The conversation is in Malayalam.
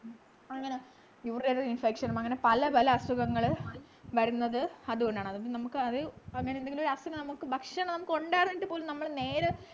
അങ്ങനെ urinary infection അങ്ങനെ പല പല അസുഖങ്ങള് വരുന്നത് അതുകൊണ്ടാണ് അതിപ്പോ നമുക്ക് അത് അങ്ങനെഎന്തെങ്കിലും ഒരു അസുഖം നമ്മക്ക് ഭക്ഷണം ഉണ്ടായിരുന്നിട്ടു പോലും നമ്മൾ നേരം